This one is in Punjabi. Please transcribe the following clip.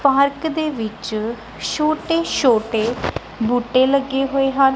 ਪਾਰਕ ਦੇ ਵਿੱਚ ਛੋਟੇ ਛੋਟੇ ਬੂਟੇ ਲੱਗੇ ਹੋਏ ਹਨ।